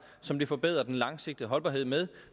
som det forbedrer den langsigtede holdbarhed med